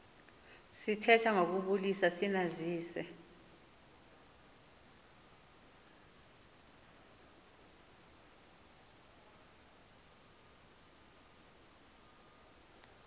sithetha ngokubulisa sinazise